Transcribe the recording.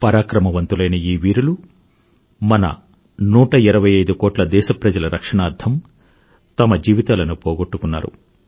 పరాక్రమవంతులైన ఈ వీరులు మన 125కోట్ల దేశప్రజల రక్షణార్థం తమ జీవితాలను పోగొట్టుకున్నారు